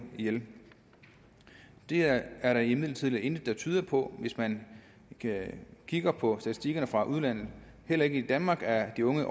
ihjel det er er der imidlertid intet der tyder på hvis man kigger på statistikkerne fra udlandet heller ikke i danmark er de unge